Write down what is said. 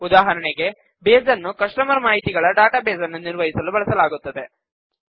ಉದಾಹರಣೆಗೆ ಬೇಸ್ ನ್ನು ಕಸ್ಟಮರ್ ಮಾಹಿತಿಗಳ ಡಾಟಾಬೇಸ್ ನ್ನು ನಿರ್ವಹಿಸಲು ಬಳಸಲಾಗುತ್ತದೆ